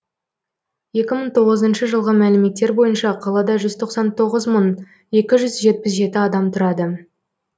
екі мың тоғызыншы жылғы мәліметтер бойынша қалада жүз тоқсан тоғыз мың екі жүз жетпіс жеті адам тұрады